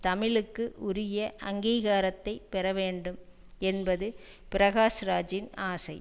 தமிழுக்கு உரிய அங்கீகாரத்தை பெற வேண்டும் என்பது பிரகாஷ் ராஜின் ஆசை